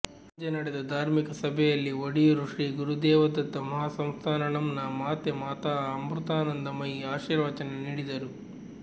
ಸಂಜೆ ನಡೆದ ಧಾರ್ಮಿಕ ಸಭೆಯಲ್ಲಿ ಒಡಿಯೂರು ಶ್ರೀ ಗುರುದೇವದತ್ತ ಮಹಾಸಂಸ್ಥಾನಂನ ಮಾತೆ ಮಾತಾಅಮೃತಾನಂದಮಯಿ ಆಶೀರ್ವಚನ ನೀಡಿದರು